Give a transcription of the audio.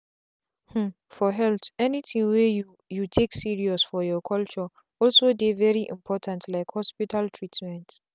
hmmmfor health anything wey you you take serious for your culture also dey very important like hospital treatment.